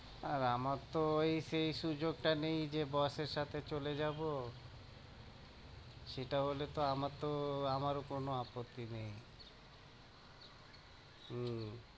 আর আমার তো ওই সেই সুযোগটা নেই যে boss এর সাথে চলে যাবো সেটা হলে তো আমার তো আমারও কোনো আপত্তি নেই হম